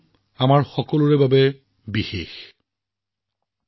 মোৰ মৰমৰ দেশবাসী ৩১ অক্টোবৰ আমাৰ সকলোৰে বাবে এক অতি বিশেষ দিন